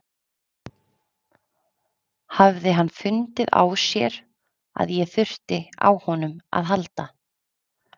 Hafði hann fundið á sér að ég þurfti á honum að halda?